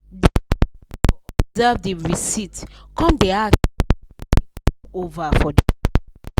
de contractor observe the reciept come da ask say why the money come over for the work